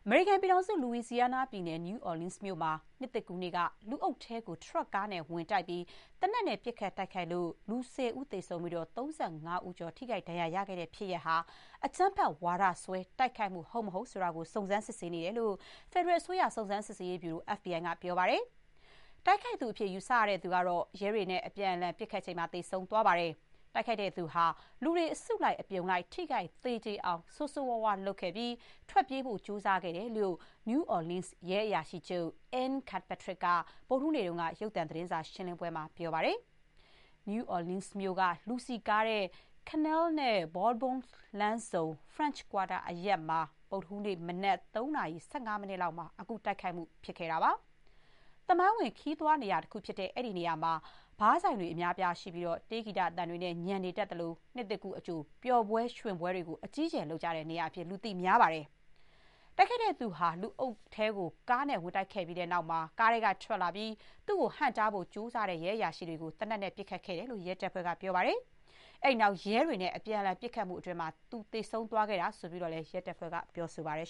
မေရိကန်ပြည်ထောင်စု Louisiana ပြည်နယ်၊ New Orleans မြို့မှာ နှစ်သစ်ကူးနေ့က လူအုပ်ထဲကို ထရပ်ကားနဲ့ ဝင်တိုက်ပြီး သေနတ်နဲ့ ပစ်ခတ်တိုက်ခိုက်လို့ လူ ၁၀ ဦး သေဆုံးပြီး ၃၅ ဦးကျော် ဒဏ်ရာရခဲ့တဲ့ ဖြစ်ရပ်ဟာ အကြမ်းဖက် ဝါဒစွဲနဲ့ တိုက်ခိုက်မှု ဟုတ်မဟုတ် စုံစမ်း စစ်ဆေးနေတယ်လို့ ဖက်ဒရယ်အစိုးရ စုံစမ်း စစ်ဆေးရေးဗျူရို FBI က ပြောပါတယ်။ တိုက်ခိုက်သူအဖြစ် ယူဆရတဲ့သူကတော့ ရဲတွေက အပြန်အလှန် ပစ်ခတ်ချိန် သေဆုံးခဲ့တယ်လို့ ဥပဒေစိုးမိုးရေး ရဲအရာရှိတွေက ပြောပါတယ်။ တိုက်ခိုက်သူဟာ လူတွေ အစုလိုက်အပြုံလိုက် ထိခိုက် သေကြေအောင် ဆိုးဆိုးရွားရွား လုပ်ခဲ့ပြီး ထွက်ပြေးဖို့ ကြိုးစားခဲ့တယ်လို့ New Orleans ရဲအရာရှိချုပ် Anne Kirkpatrick က ဗုဒ္ဓဟူးနေ့က ရုပ်သံ သတင်းစာရှင်းလင်းပွဲမှာ ပြောပါတယ်။ New Orleans မြို့က လူစည်ကားတဲ့ Canal နဲ့ Bourbon လမ်းဆုံ၊ French Quarter အရပ်မှာ ဗုဒ္ဓဟူးနေ့ မနက် ၃ နာရီ ၁၅ မိနစ်လောက်မှာ အခုတိုက်ခိုက်မှု ဖြစ်ခဲ့တာပါ။ သမိုင်းဝင် ခရီးသွားနေရာ တခုဖြစ်တဲ့ အဲ့ဒီနေရာမှာ ဘားဆိုင်တွေ အများအပြားရှိပြီး တေးဂီတသံတွေနဲ့ ညံနေတတ်သလို၊ နှစ်သစ်ကူးအကြို ပျော်ပွဲရွှင်ပွဲတွေ အကြီးအကျယ် လုပ်ကြတဲ့ နေရာအဖြစ် လူသိများပါတယ်။ တိုက်ခိုက်သူက လူအုပ်ကို ကားနဲ့ ဝင်တိုက်ခဲ့ပြီးတဲ့နောက် ကားထဲကထွက်လာပြီး သူ့ကို ဟန့်တားဖို့ကြိုးစားတဲ့ ရဲအရာရှိတွေကို သေနတ်နဲ့ ပစ်ခတ်ခဲ့တယ်လို့ ရဲတပ်ဖွဲ့က ပြောပါတယ်။ အဲ့ဒီနောက် ရဲတွေနဲ့ အပြန်အလှန် ပစ်ခတ်မှုအတွင်း သူ သေဆုံးသွားခဲ့တယ်လို့ ရဲတပ်ဖွဲ့က ပြောပါတယ်